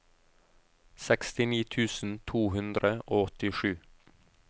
sekstini tusen to hundre og åttisju